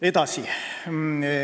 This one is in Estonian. Edasi.